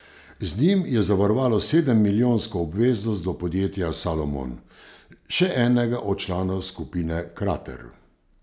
Z njim je zavarovalo sedemmilijonsko obveznost do podjetja Salomon, še enega od članov skupine Krater.